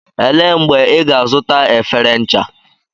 Elee mgbe ị ga-azụta efere ncha?